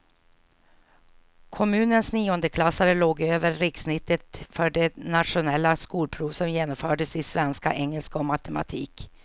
Kommunens niondeklassare låg över rikssnittet för det nationella skolprov som genomfördes i svenska, engelska och matematik.